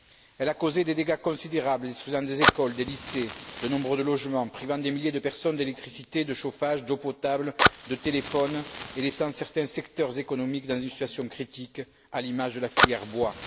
Elle a causé des dégâts considérables, détruisant des écoles, des lycées, de nombreux logements, privant des milliers de personnes d'électricité, de chauffage, d'eau potable, de téléphone, et laissant certains secteurs économiques dans une situation critique, à l'image de la filière bois.